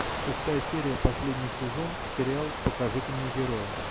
шестая серия последний сезон сериал покажите мне героя